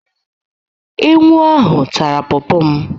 Ewu ahụ tara pọọpọ m